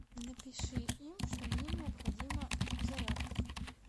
напиши им что мне необходима зарядка